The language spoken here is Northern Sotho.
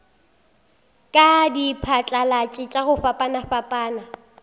le diphatlalatši tša go fapafapana